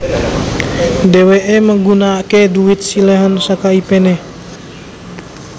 Dhéwéké nggunakaké dhuwit siléhan saka ipéné